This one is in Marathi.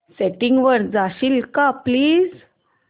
सेटिंग्स वर जाशील का प्लीज